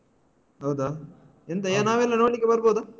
ಹೌದಾ ಎಂತ ನಾವೆಲ್ಲ ನೋಡ್ಲಿಕೆ ಬರ್ಬೋದಾ?